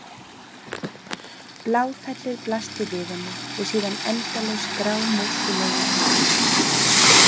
Bláfellið blasti við henni og síðan endalaus grámóskulegur himinninn.